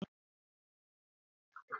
Kedụ ụgbọ butere gị ebe a?